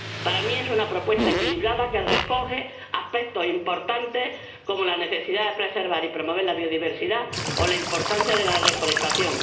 Para mí es una propuesta equilibrada que recoge aspectos importantes como la necesidad de preservar y promover la biodiversidad o la importancia de la reforestación.